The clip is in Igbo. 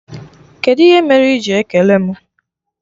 Kedụ ihe mere iji ekele mụ?